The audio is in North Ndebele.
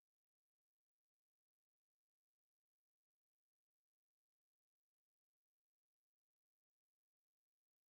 Waya khona ukuyabhalisa eloMariya, owayesethembise ukwendela kuye, esekhulelwe.